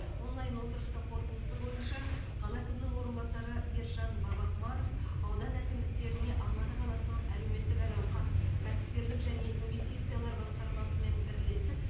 онлайн отырыстың қорытындысы бойынша қала әкімінің орынбасары ержан бабақұмаров аудан әкімдіктеріне алматы қаласының әлеуметтік әл ауқат кәсіпкерлік және инвестициялар басқармасымен бірлесіп